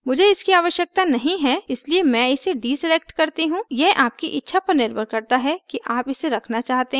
मुझे इसकी आवश्यकता नहीं है इसलिए मैं इसे deselect करती हूँ यह आपकी इच्छा पर निर्भर करता है कि आप इसे रखना चाहते हैं या नहीं